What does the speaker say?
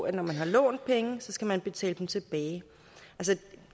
at når man har lånt penge skal man betale dem tilbage